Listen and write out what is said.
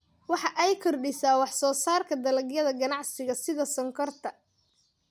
Waxa ay kordhisaa wax soo saarka dalagyada ganacsiga sida sonkorta.